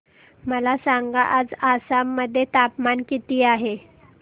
मला सांगा आज आसाम मध्ये तापमान किती आहे